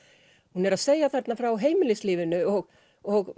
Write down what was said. hún er að segja þarna frá heimilislífinu og og